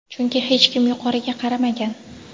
chunki hech kim yuqoriga qaramagan.